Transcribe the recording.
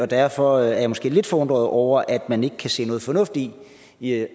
derfor er jeg måske lidt forundret over at man ikke kan se noget fornuft i i at